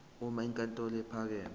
uma inkantolo ephakeme